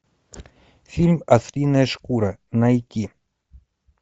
фильм ослиная шкура найти